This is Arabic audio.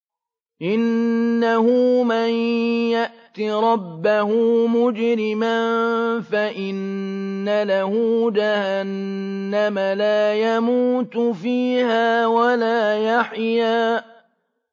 إِنَّهُ مَن يَأْتِ رَبَّهُ مُجْرِمًا فَإِنَّ لَهُ جَهَنَّمَ لَا يَمُوتُ فِيهَا وَلَا يَحْيَىٰ